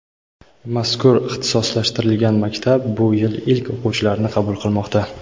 Mazkur ixtisoslashtirilgan maktab bu yil ilk o‘quvchilarini qabul qilmoqda.